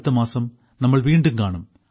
അടുത്തമാസം നമ്മൾ വീണ്ടും കാണും